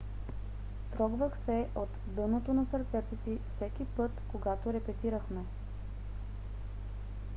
"трогвах се от дъното на сърцето си всеки път когато репетирахме